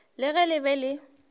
le ge le be le